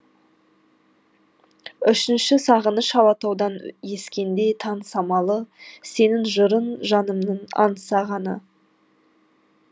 үшінші сағыныш алатаудан ескенде таң самалы сенің жырың жанымның аңсағаны